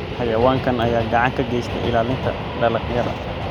Xayawaankan ayaa gacan ka geysta ilaalinta dalagyada.